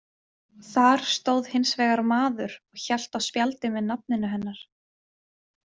Þar stóð hins vegar maður og hélt á spjaldi með nafninu hennar.